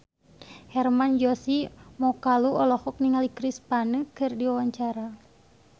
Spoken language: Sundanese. Hermann Josis Mokalu olohok ningali Chris Pane keur diwawancara